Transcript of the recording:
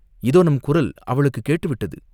இதோ நம் குரல் அவளுக்குக் கேட்டுவிட்டது